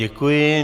Děkuji.